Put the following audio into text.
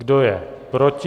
Kdo je proti?